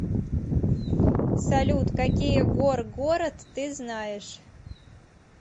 салют какие горгород ты знаешь